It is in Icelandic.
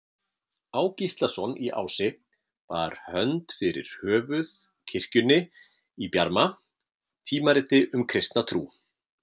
Á. Gíslason í Ási, bar hönd fyrir höfuð kirkjunni í Bjarma, tímariti um kristna trú.